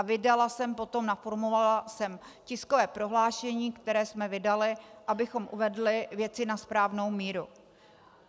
A vydala jsem potom, naformulovala jsem tiskové prohlášení, které jsme vydali, abychom uvedli věci na správnou míru.